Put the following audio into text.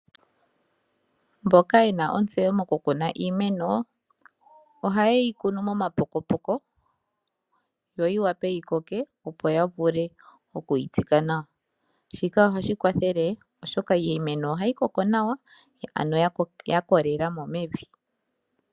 Aantu mboka yena ontseyo moku kuna iimeno oha ye yi kunu momapokopoko yo yi vule oku koka opo ya vule oku yi tsika nawa. Shika ohashi kwathele iimeno yikoke nawa ya kolela mo mevi.